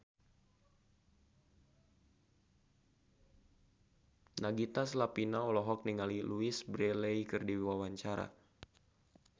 Nagita Slavina olohok ningali Louise Brealey keur diwawancara